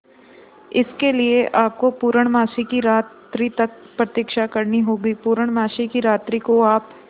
इसके लिए आपको पूर्णमासी की रात्रि तक प्रतीक्षा करनी होगी पूर्णमासी की रात्रि को आप